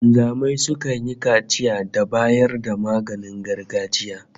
Wanzamai sukan yi kaciya da bayar da maganin gargajiya